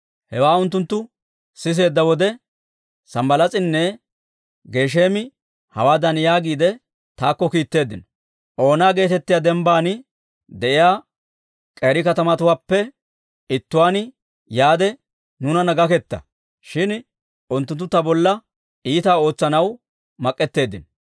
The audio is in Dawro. Hewaa unttunttu siseedda wode, Sanbbalaas'inne Gesheemi hawaadan yaagiide, taakko kiitteeddino; «Oona geetettiyaa dembban de'iyaa k'eeri katamatuwaappe ittuwaan yaade nuunanna gaketta». Shin unttunttu ta bolla iitaa ootsanaw mak'etteeddinno.